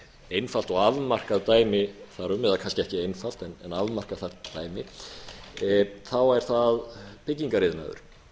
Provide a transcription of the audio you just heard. einfalt og afmarkað dæmi þar um eða kannski ekki einfalt en afmarkað þar dæmi er það byggingariðnaður